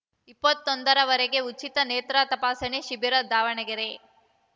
ಇಪ್ಪತ್ತೊಂದರವರೆಗೆ ಉಚಿತ ನೇತ್ರ ತಪಾಸಣಾ ಶಿಬಿರ ದಾವಣಗೆರೆ